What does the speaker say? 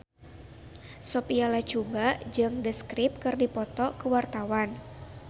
Sophia Latjuba jeung The Script keur dipoto ku wartawan